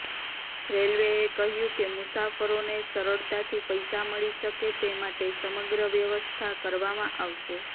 રેલવેએ કહ્યું કે મુસાફરોને સરળતાથી પૈસા મળી શકે તે માટે સમગ્ર વ્યવસ્થા કરવામાં આવશે